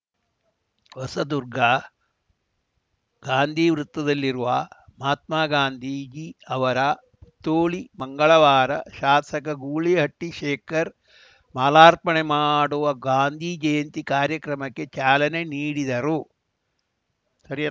ಹೊಸದುರ್ಗ ಗಾಂಧಿ ವೃತ್ತದಲ್ಲಿರುವ ಮಹಾತ್ಮಾ ಗಾಂಧೀಜಿ ಅವರ ಪುತ್ತೋಳಿ ಮಂಗಳವಾರ ಶಾಸಕ ಗೂಳಿಹಟ್ಟಿಶೇಖರ್‌ ಮಾಲಾರ್ಪಣೆ ಮಾಡುವ ಗಾಂಧಿ ಜಯಂತಿ ಕಾರ್ಯಕ್ರಮಕ್ಕೆ ಚಾಲನೆ ನೀಡಿದರು